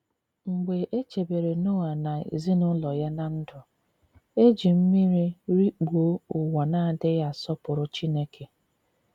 Mgbe e chebere Noa na ezinụlọ ya ná ndụ, e ji mmiri rikpuo ụwa na-adịghị asọpụrụ Chineke.